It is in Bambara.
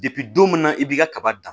don min na i b'i ka kaba dan